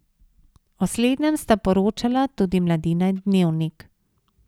O slednjem sta poročala tudi Mladina in Dnevnik.